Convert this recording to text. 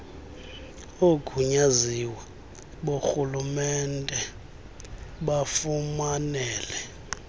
oogunyaziwe borhulumente bafumanele